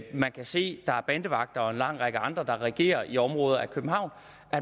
man kan se at der er bandevagter og en række andre der regerer i områderne af københavn